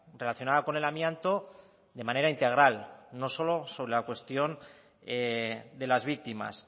relacionada con el amianto de manera integral no solo sobre la cuestión de las víctimas